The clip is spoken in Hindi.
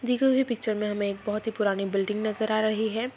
पिक्चर मे हमे एक बोहोत ही पुरानी बिल्डिंग नजर आ रही है।